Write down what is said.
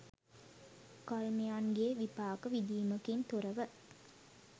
කර්මයන්ගේ විපාක විදීමකින් තොරව